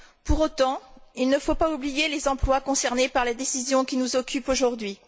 Pour autant, il ne faut pas oublier les emplois concernés par la décision qui nous occupe aujourd'hui.